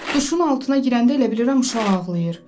Duşun altına girəndə elə bilirəm uşaq ağlayır.